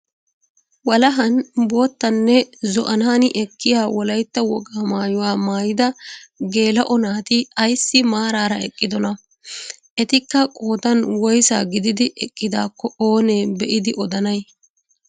Walahan boottanne zo"anaani ekkiya wolaytta wogaa maayuwaa maayida geela'o naati ayssi maarara eqqidonaa? Etikka qoodan woysaa gididi eqqidaakko oonee be'idi odanay?